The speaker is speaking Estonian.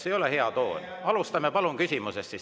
See ei ole hea toon, teinekord alustame palun küsimusest.